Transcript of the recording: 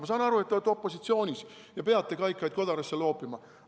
Ma saan aru, et te olete opositsioonis ja peate kaikaid kodarasse loopima.